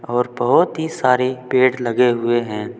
और बहुत ही सारे पेड़ लगे हुए हैं।